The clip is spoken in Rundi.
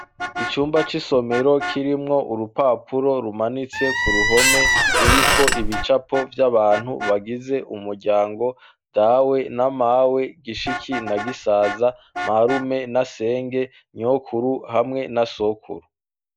icumba c'isomero kirimwo urupapuro rumanitse ku ruhome ruriko ibicapo vy'abantu bagize umuryango dawe n'amawe gishiki na gisaza marume na senge nyokuru hamwe na sokuru